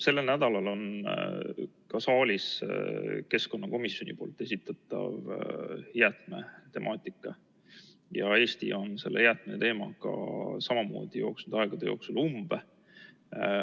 Sellel nädalal on ka saalis keskkonnakomisjoni esitatav jäätmetemaatika ja Eesti on selle jäätmeteemaga samamoodi jooksnud aegade jooksul umbe.